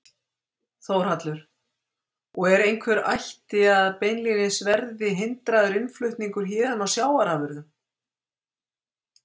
Þórhallur: Og er einhver ætta á að beinlínis verði hindraður innflutningur héðan á sjávarafurðum?